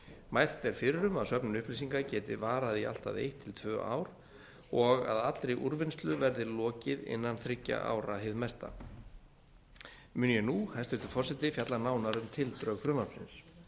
mælt er fyrir um að söfnun upplýsinga geti varað í allt að eitt til tvö ár og að allri úrvinnslu verði lokið innan þriggja ára hið mesta mun ég nú hæstvirtur forseti fjalla nánar um tildrög frumvarpsins